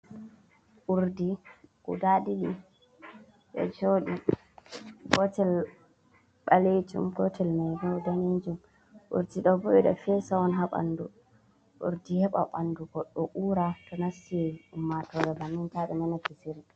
Urdi guda ɗiɗi ɗo joɗi, gotel ɓalejum, gotel mai bo danejum, urdi ɗo bo ɓe ɗo fesa on ha ɓandu, urdi heɓa ɓandu goɗɗo ura to nasti ummatore bannin ta ɓe nana kisiri.